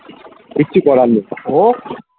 কিছু করার নেই ও